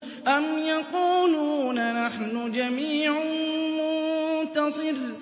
أَمْ يَقُولُونَ نَحْنُ جَمِيعٌ مُّنتَصِرٌ